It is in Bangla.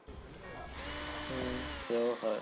হুম সেও হয়।